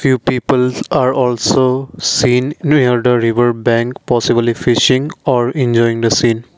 few peoples are also seen near the riverbank possibly fishing are enjoying the scene.